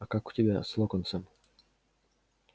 а как у тебя с локонсом